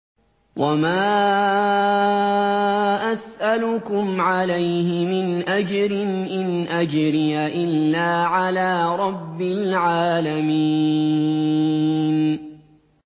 وَمَا أَسْأَلُكُمْ عَلَيْهِ مِنْ أَجْرٍ ۖ إِنْ أَجْرِيَ إِلَّا عَلَىٰ رَبِّ الْعَالَمِينَ